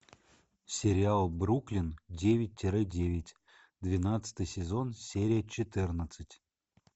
сериал бруклин девять тире девять двенадцатый сезон серия четырнадцать